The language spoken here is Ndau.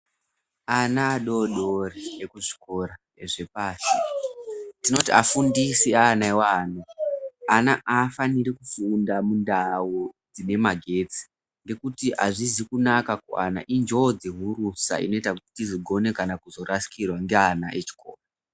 Ana adodori ekuzviikora ezvepashi tinoti afundisi eana iwawo ana afaniri kufunda mundau dzinemagetsi ngeuti azvizi kunaka kuana injodzi hurusa inoita kuti tizogone kana kurasikirwa ngeana echikoro.